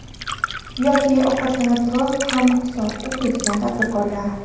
Yoki ovqatlana turib ham kitob o‘qiydigan tadbirkorlar.